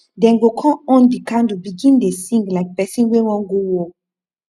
dem go con on di candle begin dey sing like person wey wan go war